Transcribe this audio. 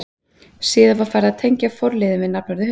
Síðar var farið að tengja forliðinn við nafnorðið hundur.